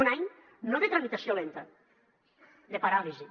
un any no de tramitació lenta de paràlisi